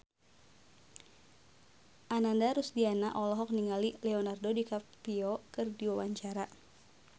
Ananda Rusdiana olohok ningali Leonardo DiCaprio keur diwawancara